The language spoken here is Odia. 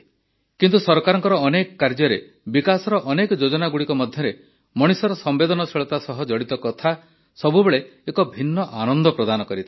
କିନ୍ତୁ ସରକାରଙ୍କ ଅନେକ କାର୍ଯ୍ୟରେ ବିକାଶର ଅନେକ ଯୋଜନାଗୁଡ଼ିକ ମଧ୍ୟରେ ମଣିଷର ସମ୍ବେଦନଶୀଳତା ସହ ଜଡ଼ିତ କଥା ସବୁବେଳେ ଏକ ଭିନ୍ନ ଆନନ୍ଦ ପ୍ରଦାନ କରିଥାଏ